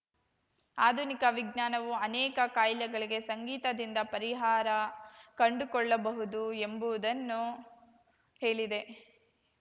ಆಧುನಿಕ ವಿಜ್ಞಾನವೂ ಅನೇಕ ಕಾಯಿಲೆಗಳಿಗೆ ಸಂಗೀತದಿಂದ ಪರಿಹಾರ ಕಂಡುಕೊಳ್ಳಬಹುದು ಎಂಬುವುದನ್ನು ಹೇಳಿದೆ